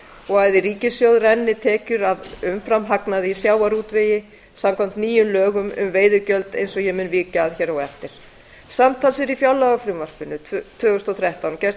í ríkissjóð renni tekjur af umframhagnaði í sjávarútvegi samkvæmt nýjum lögum um veiðigjöld eins og ég mun víkja að hér á eftir samtals er í fjárlagafrumvarpinu tvö þúsund og þrettán gert